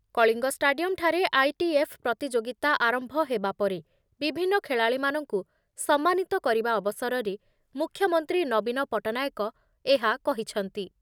Kalinga stadium ଠାରେ ITF ପ୍ରତିଯୋଗିତା ଆରମ୍ଭ ହେବା ପରେ ବିଭିନ୍ନ ଖେଳାଳୀ ମାନଙ୍କୁ ସମ୍ମାନିତ କରିବା ଅବସରରେ ମୁଖ୍ୟମନ୍ତ୍ରୀ ନବୀନ ପଟ୍ଟନାୟକ ଏହା କହିଛନ୍ତି ।